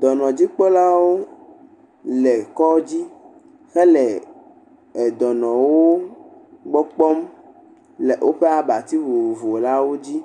Dɔnɔdzikpɔlawo le kɔdzi hele dɔnɔwo gbɔ kpɔm le woƒe abati vovovo lawo dzi